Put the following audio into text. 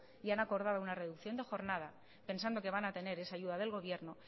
y han acordado una reducción de jornada pensando que van a tener esa ayuda del gobierno